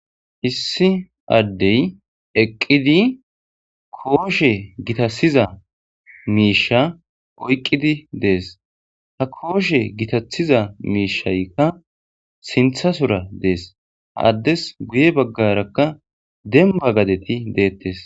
issi addey eqqidi kooshe gitasiza miisha oyqqidi dees ha kooshe gitathiza miishaykka sinthasora dees addes guye baggarakka demba gadeti deettes